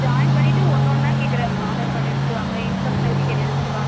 Join பண்ணிட்டு ஒணுஒன்ன கேக்குறாங்க aadhar card எடுத்துட்டு வாங்க income certificate எடுத்துட்டு வாங்க